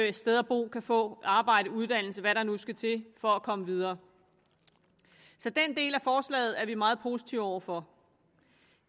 et sted at bo kan få arbejde uddannelse hvad der nu skal til for at komme videre så den del af forslaget er vi meget positive over for